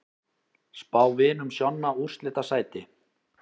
Spá Vinum Sjonna úrslitasæti